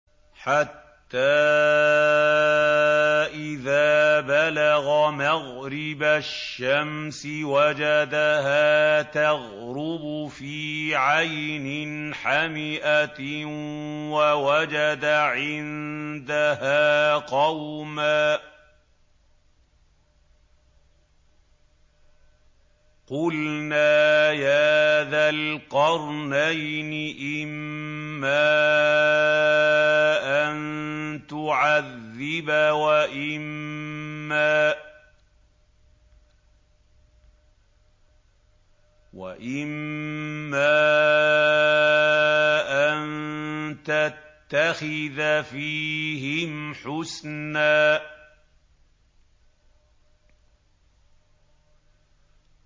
حَتَّىٰ إِذَا بَلَغَ مَغْرِبَ الشَّمْسِ وَجَدَهَا تَغْرُبُ فِي عَيْنٍ حَمِئَةٍ وَوَجَدَ عِندَهَا قَوْمًا ۗ قُلْنَا يَا ذَا الْقَرْنَيْنِ إِمَّا أَن تُعَذِّبَ وَإِمَّا أَن تَتَّخِذَ فِيهِمْ حُسْنًا